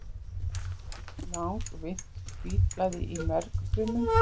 langvinnt hvítblæði í mergfrumum